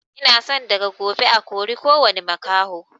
Ina son daga gobe a kori kowani makaho